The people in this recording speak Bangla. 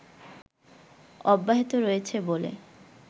অব্যাহত রয়েছে বলে